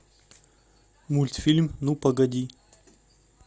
мультфильм ну погоди